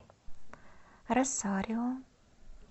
росарио